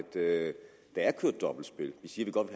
er kørt dobbeltspil vi siger vi godt